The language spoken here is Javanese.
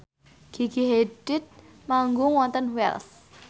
Gigi Hadid manggung wonten Wells